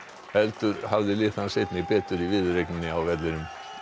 heldur hafði lið hans einnig betur í viðureigninni inni á vellinum